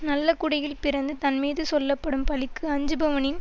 நல்ல குடியில் பிறந்து தன்மீது சொல்ல படும் பழிக்கு அஞ்சுபவனின்